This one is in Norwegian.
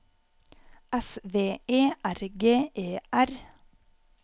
S V E R G E R